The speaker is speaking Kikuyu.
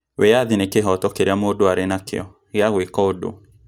Wiyathi nĩ kĩhoto kĩria mũndũ arĩ nakio gĩa gũĩka ũndũ